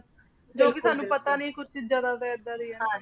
ਜੋ ਕੇ ਸਾਨੂ ਪਤਾ ਨਹੀ ਕੁਛ ਚੀਜ਼ਾਂ ਦਾ ਕੇ ਏਦਾਂ ਡਿਯਨ